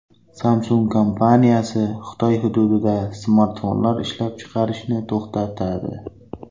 Samsung kompaniyasi Xitoy hududida smartfonlar ishlab chiqarishni to‘xtatadi.